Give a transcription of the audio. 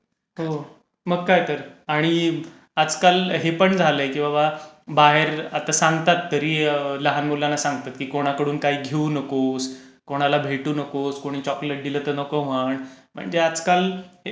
हो, मग काय तर आणि आजकाल हे पण झालंय की बाबा बाहेर आता सांगतात तरी लहान मुलांना सांगतात की कोणाकडून काही घेऊ नको, कोणाला भेटू नकोस, कोणी चोकोलेट दिलं तर नको म्हण, म्हणजे आजकाल हे पण मुलांना सांगायची गरज